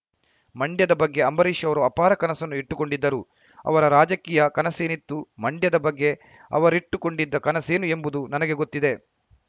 ಮಂಡ್ಯದ ಬಗ್ಗೆ ಅಂಬರೀಷ್‌ ಅವರು ಅಪಾರ ಕನಸನ್ನು ಇಟ್ಟುಕೊಂಡಿದ್ದರು ಅವರ ರಾಜಕೀಯ ಕನಸೇನಿತ್ತು ಮಂಡ್ಯದ ಬಗ್ಗೆ ಅವರಿಟ್ಟುಕೊಂಡಿದ್ದ ಕನಸೇನು ಎಂಬುದು ನನಗೆ ಗೊತ್ತಿದೆ